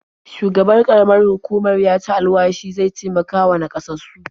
Shugaban ƙaramar hukumar ya ci alwashi zai taimakawa naƙasassu.